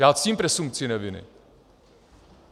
Já ctím presumpci neviny.